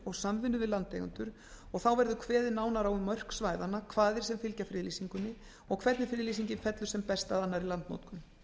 og landeigendur og þá verður kveðið nánar á um mörk svæðanna kvaðir sem fylgja friðlýsingunni og hvernig friðlýsingin fellur sem best að annarri landnotkun